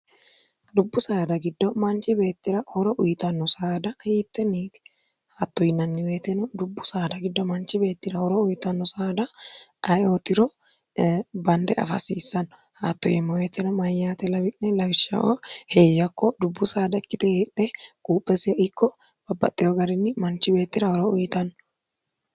dubbu saada giddo manchi beettira horo uyitanno saada hiitteniiti haatto yinanni uyeteno dubbu saada giddo manchi beettira horo uyitanno saada ayeootiro bande afasiissanno haatto yemmo uweteno mayyaate lawi'ne lawishshao heeyyakko dubbu saada ikkite heephe guuphesie ikko babbaxxewo garinni manchi beettira horo uyitanno